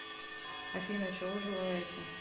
афина чего желаете